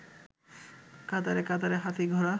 কাতারে কাতারে হাতী ঘোড়া